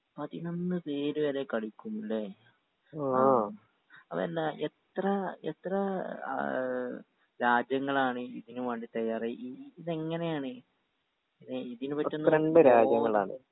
പതിനൊന്ന് പേര് വരെ കളിക്കും ലെ ആ അതല്ല എത്ര എത്ര ഏ രാജ്യങ്ങളാണ് ഇതിന് വേണ്ടി തയ്യാറായി ഈ ഈ ഇതെങ്ങനെയാണ് ഇതിന് പറ്റുന്ന